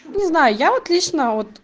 не знаю я вот лично вот